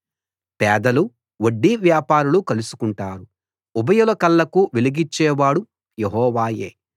పేదలు వడ్డీ వ్యాపారులు కలుసుకుంటారు ఉభయుల కళ్ళకు వెలుగిచ్చేవాడు యెహోవాయే